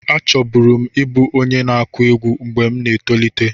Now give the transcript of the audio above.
Achọburu m ịbụ onye na-akụ egwú mgbe m na-etolite.